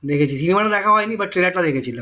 দেখেছি cinema তা দেখা হয়নি but teller তা দেখেছিলাম